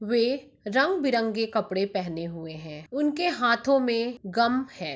वे रंग-बिरंगे कपड़े पहने हुए है उनके हाथो मे गम है।